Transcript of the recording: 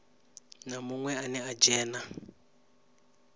na munwe ane a dzhena